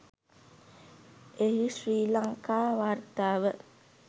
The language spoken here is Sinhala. එහි ශ්‍රී ලංකා වාර්තාව